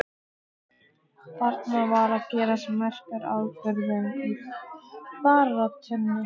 Þarna var að gerast merkur atburður í baráttunni.